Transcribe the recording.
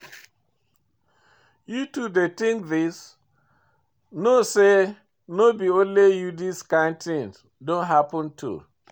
You too dey think this, know say no be only you this kind thing don happen to.